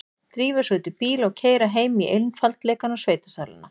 Drífa sig út í bíl og keyra heim í einfaldleikann og sveitasæluna.